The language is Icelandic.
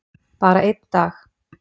Bara einn dag!